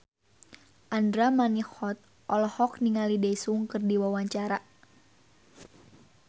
Andra Manihot olohok ningali Daesung keur diwawancara